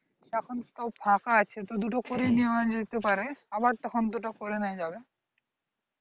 এখন তো ফাঁকা আছে তো দুটো করে নিয়া যেতে পারে আবার তখন দুটো করে নিয়া যাবে